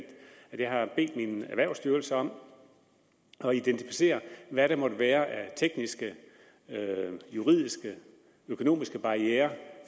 jeg har bedt min erhvervsstyrelse om at identificere hvad der måtte være af tekniske juridiske økonomiske barrierer